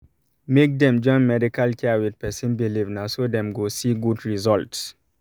make dem join medical care with person believe na so dem go see good result